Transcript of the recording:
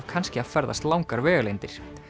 kannski að ferðast langar vegalengdir